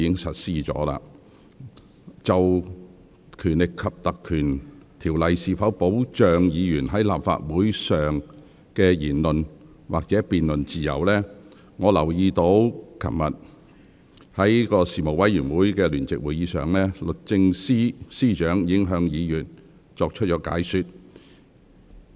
就《立法會條例》能否保障議員在立法會上的言論或辯論自由，我注意到昨天舉行的事務委員會聯席會議上，律政司司長已向議員作出解說。